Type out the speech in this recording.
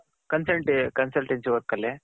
consultancy work ಅಲ್ಲಿ